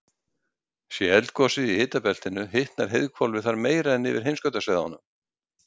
Sé eldgosið í hitabeltinu hitnar heiðhvolfið þar meira en yfir heimskautasvæðunum.